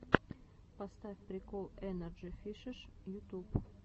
поставь прикол энерджи фишин ютуб